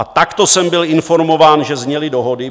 A takto jsem byl informován, že zněly dohody.